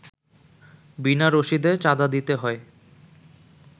বিনা রশিদে চাঁদা দিতে হয়